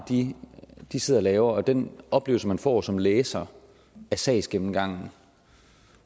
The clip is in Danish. de sidder og laver og den oplevelse man får som læser af sagsgennemgangen